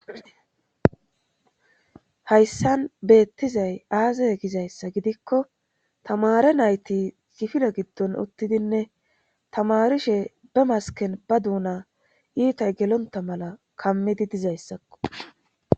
Hayssan beettizay aaza gizayssa gidikko tamare nayti sifile giddon uttidinne tamarishe be masken ba duuna iitay gelonta mala kammidi dizayssakko.